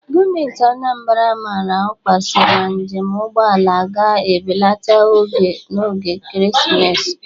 Gọọmenti Anambra amaara ọkwa si na njem ụgbọ ala ga ebelata ego n'oge ekeresimesi.